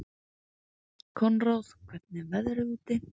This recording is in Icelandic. Konráð, hvernig er veðrið úti?